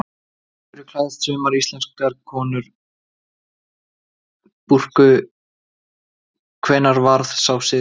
Af hverju klæðast sumar íslamskar konur búrku, hvenær varð sá siður til?